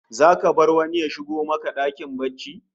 Zaka bar wani ya shigo maka dakin barci?